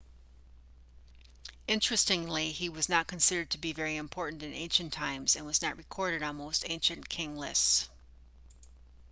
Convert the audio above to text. interestingly he was not considered to be very important in ancient times and was not recorded on most ancient king lists